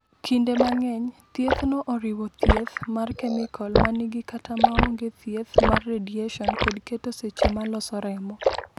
"Kinde mang’eny, thiethno oriwo thieth mar kemikol ma nigi kata maonge thieth mar radiation kod keto seche ma loso remo."